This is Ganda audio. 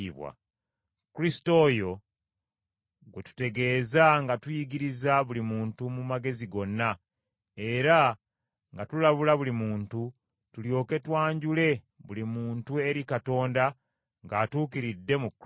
Kristo oyo gwe tutegeeza nga tuyigiriza buli muntu mu magezi gonna era nga tulabula buli omu, tulyoke twanjule buli muntu eri Katonda ng’atuukiridde mu Kristo.